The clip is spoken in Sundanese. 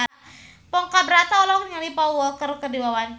Ponky Brata olohok ningali Paul Walker keur diwawancara